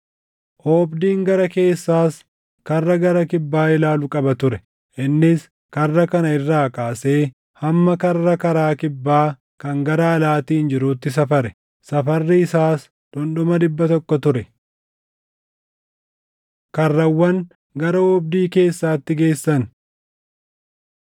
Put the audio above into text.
Oobdiin gara keessaas karra gara kibbaa ilaalu qaba ture; innis karra kana irraa kaasee hamma karra karaa kibbaa kan gara alaatiin jiruutti safare; safarri isaas dhundhuma dhibba tokko ture. Karrawwan Gara Oobdii Keessaatti Geessan